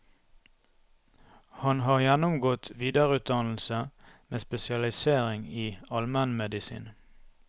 Han har gjennomgått videreutdannelse med spesialisering i almenmedisin.